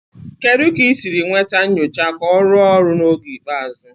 Kedu ka ị siri nweta nyocha ka ọ rụọ ọrụ n'oge ikpeazụ?